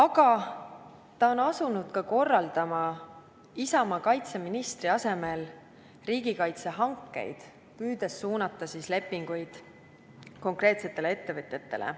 Samuti on ta asunud korraldama Isamaa kaitseministri asemel riigikaitsehankeid, püüdes suunata lepinguid konkreetsetele ettevõtetele.